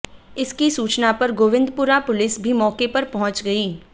इसकी सूचना पर गोविंदपुरा पुलिस भी मौके पर पहुंच गई